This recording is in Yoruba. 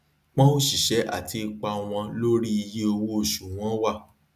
pọn òṣìṣẹ àti ipa wọn lórí iye owó oṣù wọn wà